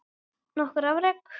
Nokkur afrek